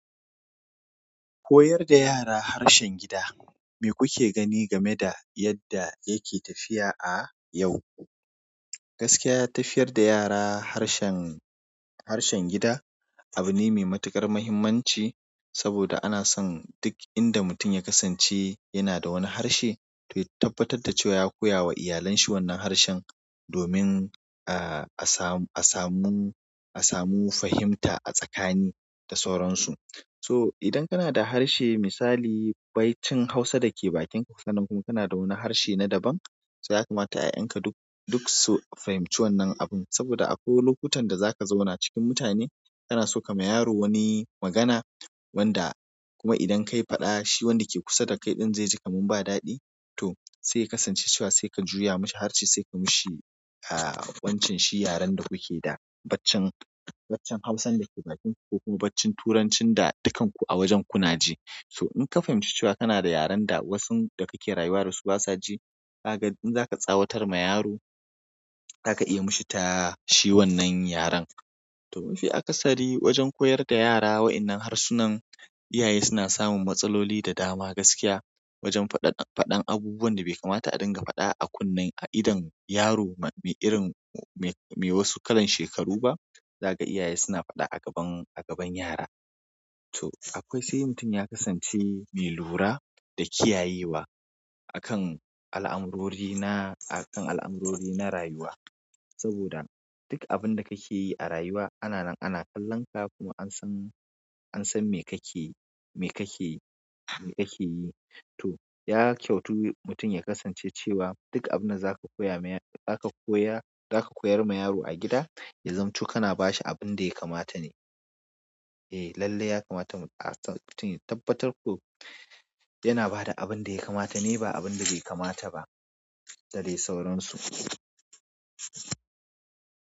Koyar da yara harshen gida, me kuke gani game da yadda yake tafiya a yau? Gaskiya tafiyar da yara harshen, harshen gida abu ne mai matuƙar muhimmanci saboda ana son duk inda mutum ya kasance yana da wani harshe to ya tabbatar da cewa ya koya wa iyalenshi wannan harshen domin, ah, a samu, a samu, a samu fahimta a tsakani da sauransu. To idan kanada harshe musali baicin hausa dake bakin ka, sannan kuma kana da wani harshe na daban so yakamata ya'yanka duk su fahimci wannan abun saboda akwai lokutan da za ka zauna cikin mutane kana so ka ma yaro wani magana wanda kuma idan ka yi faɗa shi wanda ke kusa da kai ɗin zai ji kamun ba daɗi to sai ka kasance cewa sai ka juya mashi harshe sai ka mishi, ah, wancanshi yaren da kuke da baccen, baccen Hausan da ke bakin ku ko kuma baccin Turancin da dukkan ku a wajen kuna ji. So in ka fahimci cewa kana da yaren da wasun da kake rayuwa da su ba sa ji, ka ga in za ka tsawatar ma yaro, za ka iya yi mishi ta shi wannan yaren. To mafi akasari wajen koyar da yara wa'ennan harsunan, iyaye suna samun matsaloli da dama gaskiya wajen faɗan, faɗan abubuwan da bai kamata a dinga faɗa a kunne a idon yaro ma me irin, me, me wasu kalan shekaru ba. Za ka ga iyaye suna faɗa a gaban, a gaban yara. To akwai sai mutum ya kasance mai lura da kiyayewa akan al'amurori na, akan al'amurori na rayuwa. Saboda duk abun da kake yi a rayuwa ana nan ana kallon ka kuma an san, an san me kake, me kake, me kake yi. To ya kyautu mutum ya kasance cewa duk abin da za ka koya ma yaro, za ka koya, za ka koyar ma yaro a gida, ya zamto ku kana ba shi abin da ya kamata ne. Eh lallai ya kamata mutum a tabbatar ko yana ba da abin da ya kamata ne ba abin da bai kamata ba da dai sauransu.